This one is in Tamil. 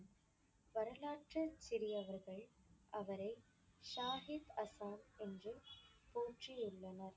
வரலாற்றில் சிறியவர்கள் அவரை ஷாகித் அசாம் என்று போற்றியுள்ளனர்.